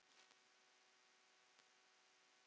Þú getur aldrei sungið framar